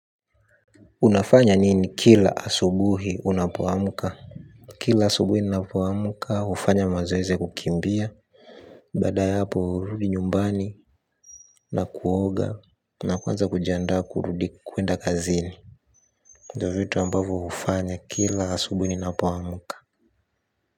Unafanya nini kila asubuhi unapoamka? Kila asubuhi ninapoamka hufanya mazoezi ya kukimbia. Baada ya hapo hurudi nyumbani na kuoga na kuanza kujiandaa kurudi kwenda kazini. Ndio vitu ambavo hufanya kila asubuhi ninapoamka.